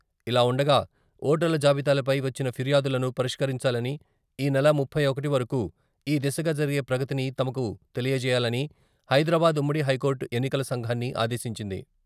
ఇలా ఉండగా, ఓటర్ల జాబితాలపై వచ్చిన ఫిర్యాదులను పరిష్కరించాలని, ఈ నెల ముప్పై ఒకటి వరకు ఈ దిశగా జరిగే ప్రగతిని తమకు తెలియజేయాలని హైదరాబాద్ ఉమ్మడి హైకోర్టు ఎన్నికల సంఘాన్ని ఆదేశించింది.